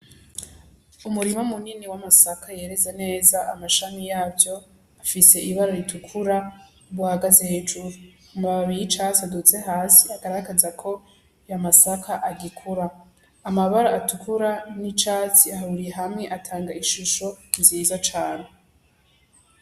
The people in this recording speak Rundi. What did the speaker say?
Umurima munini w'amasaka yeze neza amashami yavyo afise ibara ritukura buhagaze hejuru, amababi y'icatsi aduze hasi agaragaza ko ayo masaka agikura, amabara atukura n'icatsi ahuriye hamwe atanga ishusho nziza cane.